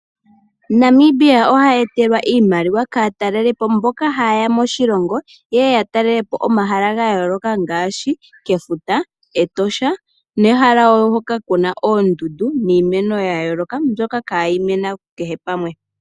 Namibia oha etelwa iimaliwa kaataleli po mboka haye ya moshilongo, yeye ya talele po omahala ga yooloka ngaashi kefuta, Etosha nehala wo hoka kuna oondundu niimeno ya yooloka mbyoka ihayi mene kehe pamwe.